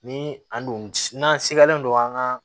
Ni an dun n'an segalen don an ka